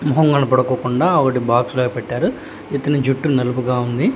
మెహం కనపడకుండా బాక్స్ లో పెట్టారు ఇతని చుట్టు నల్లగా ఉంది.